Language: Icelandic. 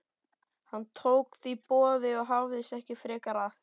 Hann tók því boði og hafðist ekki frekar að.